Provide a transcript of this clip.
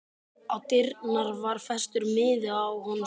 Á dyrnar var festur miði og á honum stóð